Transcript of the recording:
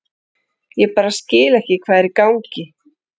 Ég bara skil ekki hvað er í gangi.